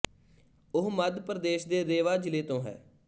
ਉਹ ਮੱਧ ਪ੍ਰਦੇਸ਼ ਦੇ ਰੇਵਾ ਜ਼ਿਲ੍ਹੇ ਤੋਂ ਹੈ